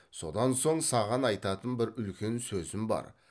содан соң саған айтатын бір үлкен сөзім бар